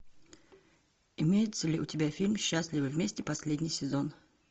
имеется ли у тебя фильм счастливы вместе последний сезон